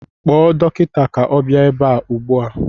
Kpọọ dọkịta ka ọ bịa ebe a ụgbụa!